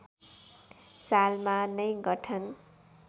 सालमा नै गठन